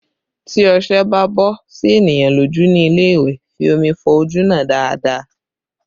Tí ọṣẹ bá bọ sí ènìyàn lójú ní ilé ìwẹ̀, fi omi fọ ojú náà dáadáa